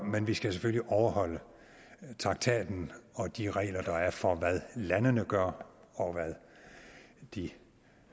men vi skal selvfølgelig overholde traktaten og de regler der er for hvad landene gør og hvad de